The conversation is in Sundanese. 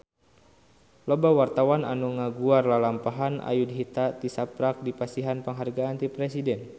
Loba wartawan anu ngaguar lalampahan Ayudhita tisaprak dipasihan panghargaan ti Presiden